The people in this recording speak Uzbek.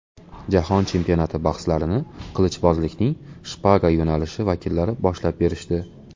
Jahon chempionati bahslarini qilichbozlikning shpaga yo‘nalishi vakillari boshlab berishdi.